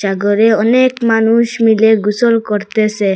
সাগরে অনেক মানুষ মিলে গোসল করতেসে ।